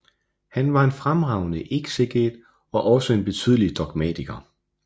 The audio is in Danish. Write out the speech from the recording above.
Han var en fremragende ekseget og også en betydelig dogmatiker